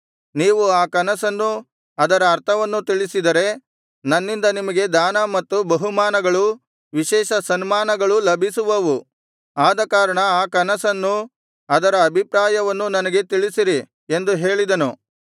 ನೀವು ಆ ಕನಸನ್ನೂ ಅದರ ಅರ್ಥವನ್ನೂ ತಿಳಿಸಿದರೆ ನನ್ನಿಂದ ನಿಮಗೆ ದಾನ ಮತ್ತು ಬಹುಮಾನಗಳೂ ವಿಶೇಷ ಸನ್ಮಾನಗಳೂ ಲಭಿಸುವವು ಆದಕಾರಣ ಆ ಕನಸನ್ನೂ ಅದರ ಅಭಿಪ್ರಾಯವನ್ನೂ ನನಗೆ ತಿಳಿಸಿರಿ ಎಂದು ಹೇಳಿದನು